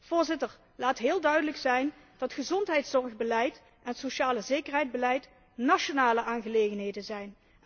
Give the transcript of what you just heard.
Voorzitter, laat heel duidelijk zijn dat gezondheidszorgbeleid en socialezekerheidsbeleid nationale aangelegenheden zijn.